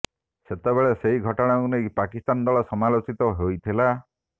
ସେତେବେଳେ ସେହି ଘଟଣାକୁ ନେଇ ପାକିସ୍ତାନ ଦଳ ସମାଲୋଚିତ ହୋଇଥିଲା